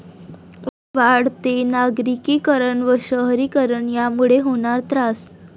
वाढते नागरिकीकरण व शहरीकरण यामुळे होणार त्रास